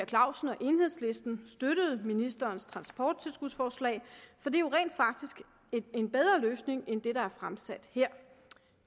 clausen og enhedslisten støttede ministerens transporttilskudsforslag for det er jo rent faktisk en bedre løsning end det der er fremsat her